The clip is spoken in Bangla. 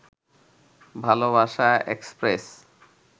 ভালোবাসা এক্সপ্রেস